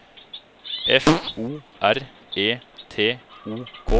F O R E T O K